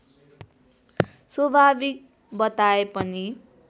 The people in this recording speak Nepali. स्वाभाविक बताए पनि